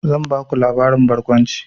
Zan baku labarin barkwanci.